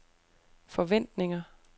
forventninger